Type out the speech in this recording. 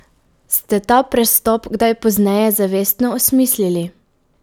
Ste ta prestop kdaj pozneje zavestno osmislili?